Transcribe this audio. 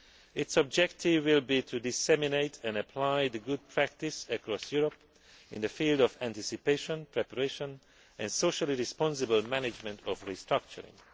Its objective will be to disseminate and apply the good practice across Europe in the field of anticipation, preparation and socially responsible management of restructuring.